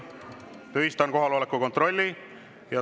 Tühistan kohaloleku kontrolli.